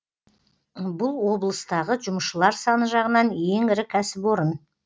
бұл облыстағы жұмысшылар саны жағынан ең ірі кәсіпорын